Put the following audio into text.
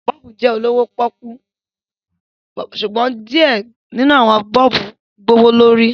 bọ́ọ̀bù jẹ olowo poku, ṣugbọn diẹ ninu awọn bọ́ọ̀bùjẹ gbowolori